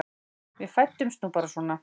Við fæddumst nú bara svona.